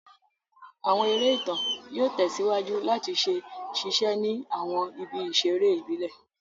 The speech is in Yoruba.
Àwọn eré ìtàn yóò tẹ̀síwájú làti ṣe ṣíse ni àwọn ibi ìsèré ìbílẹ̀